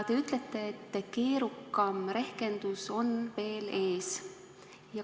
Te ütlete, et keerukam rehkendus on veel ees.